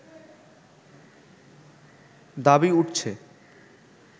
দাবি উঠছে